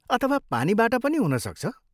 अथवा पानीबाट पनि हुनसक्छ?